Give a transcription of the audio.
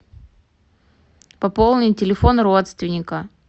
пополнить телефон родственника